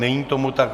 Není tomu tak.